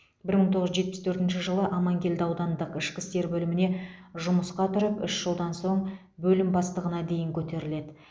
бір мың тоғыз жүз жетпіс төртінші жылы аманкелді аудандық ішкі істер бөліміне жұмысқа тұрып үш жылдан соң бөлім бастығына дейін көтеріледі